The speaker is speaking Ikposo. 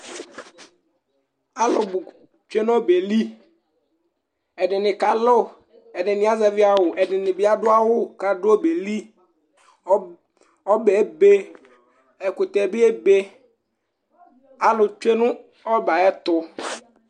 Alʋbʋ tsue nʋ ɔbɛ yɛ li Ɛdɩnɩ kalʋ, ɛdɩnɩ azɛvɩ awʋ, ɛdɩnɩ bɩ adʋ awʋ kʋ adʋ ɔbɛ yɛ li Ɔb ɔbɛ yɛ ebe, ɛkʋtɛ bɩ ebe Alʋ tsue nʋ ɔbɛ yɛ ayɛtʋ